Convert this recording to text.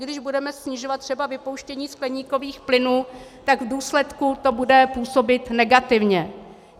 I když budeme snižovat třeba vypouštění skleníkových plynů, tak v důsledku to bude působit negativně.